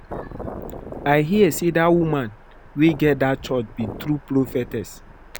I hear say dat woman wey get dat church be true Prophetess